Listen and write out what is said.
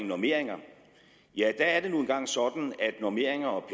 normeringer ja der er det nu engang sådan at normeringer og